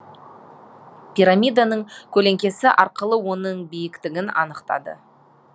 пирамиданың көлеңкесі арқылы оның биіктігін анықтады